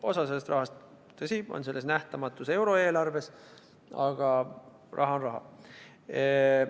Osa sellest rahast, tõsi, on selles nähtamatus euroeelarves, aga raha on raha.